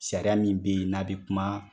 Sariya min be yen n'a bi kuma